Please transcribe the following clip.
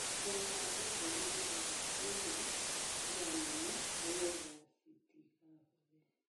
Ndūkahande mbegu thutha wakwaura mbura nene nīgetha citigabuthe.